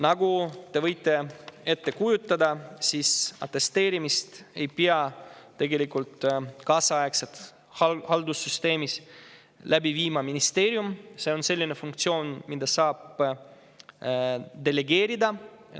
Nagu te võite ette kujutada, atesteerimist ei pea tegelikult kaasaegses haldussüsteemis läbi viima ministeerium, see on selline funktsioon, mida saab delegeerida.